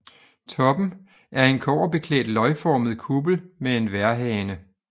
Toppen er en kobberbeklædt løgformet kuppel med en vejrhane